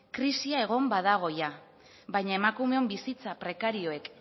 krisia egon badago jada baina emakumeon bizitza prekarioak